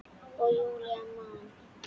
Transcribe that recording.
Og Júlía man.